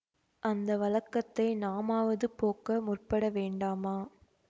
அந்த வழக்கத்தை நாமாவது போக்க முற்பட வேண்டாமா